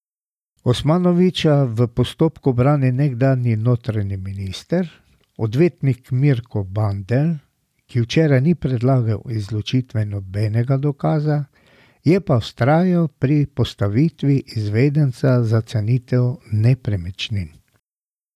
Osmanovića v postopku brani nekdanji notranji minister, odvetnik Mirko Bandelj, ki včeraj ni predlagal izločitve nobenega dokaza, je pa vztrajal pri postavitvi izvedenca za cenitev nepremičnin.